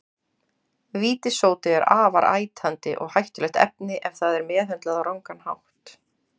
Vítissódi er afar ætandi og hættulegt efni ef það er meðhöndlað á rangan hátt.